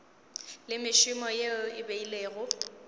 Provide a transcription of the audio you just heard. le mešomo yeo e beilwego